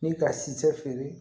Ni ka si feere